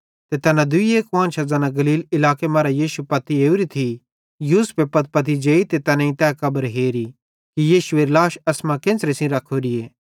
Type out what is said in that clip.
ते तैना दूई कुआन्शां ज़ैना गलील इलाके मरां यीशुए पत्पती ओरी थी यूसुफे पत्पती जेई ते तैनेईं तै कब्र हेरी कि यीशुएरी लाश एसमां केन्च़रे सेइं रखोरीए